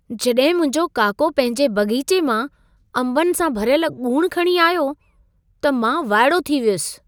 जॾहिं मुंहिंजो काको पंहिंजे बाग़ीचे मां अंबनि सां भरियल ॻूणि खणी आयो, त मां वाइड़ो थी वियुसि।